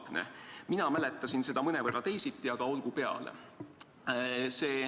Mina mäletasin seda mõnevõrra teisiti, aga olgu peale.